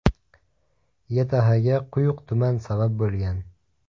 YTHga quyuq tuman sabab bo‘lgan.